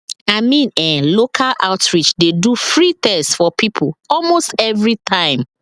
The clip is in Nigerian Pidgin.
i mean eh local outreach dey do free test for people almost every time